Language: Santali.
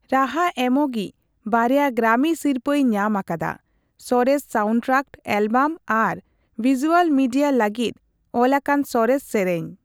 ᱨᱟᱦᱟ ᱮᱢᱚᱜᱤᱡ ᱵᱟᱨᱭᱟ ᱜᱨᱟᱢᱤ ᱥᱤᱨᱯᱟᱹᱭ ᱧᱟᱢ ᱟᱠᱟᱫᱟ ᱥᱚᱨᱮᱥ ᱥᱟᱣᱩᱱᱰᱴᱨᱟᱠ ᱮᱞᱵᱟᱢ ᱟᱨ ᱵᱷᱤᱡᱩᱣᱟᱞ ᱢᱤᱰᱤᱭᱟ ᱞᱟᱹᱜᱤᱫ ᱚᱞ ᱟᱠᱟᱱ ᱥᱚᱨᱮᱥ ᱥᱮᱨᱮᱧ ᱾